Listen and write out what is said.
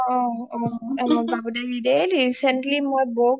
অ অ অ অ অ বাবু দাই daily recently মই বৌক